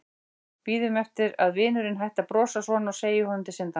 Bíður eftir að vinurinn hætti að brosa svona og segi honum til syndanna.